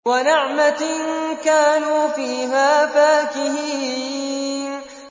وَنَعْمَةٍ كَانُوا فِيهَا فَاكِهِينَ